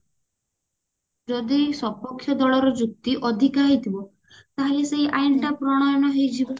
ଯଦି ସପକ୍ଷ୍ୟ ଦଳର ଯୁକ୍ତି ଅଧିକା ହେଇଥିବ ତାହେଲେ ସେଇ ଆଇନ ଟା ପ୍ରଣୟନ ହେଇଯିବ